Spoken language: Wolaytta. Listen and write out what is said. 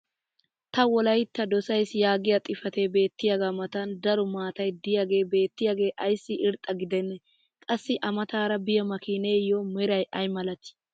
ta wolaytta dosays yaagiya xifatee beettiyaaga matan daro maatay diyaagee beetiyaage ayssi irxxa gidenee? qassi a mataara biya makiineeyo meray ay malatii?